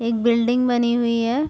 एक बिल्डिंग बनी हुई है।